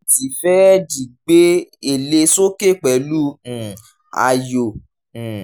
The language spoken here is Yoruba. lẹ́yìn tí fẹ́ẹ̀dì gbé èlé sókè pẹ̀lú um ayò um